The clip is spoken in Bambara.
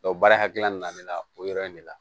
baara hakilina nana ne la o yɔrɔ in de la